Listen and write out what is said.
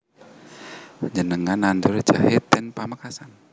Njenengan nandur jahe ten Pamekasan?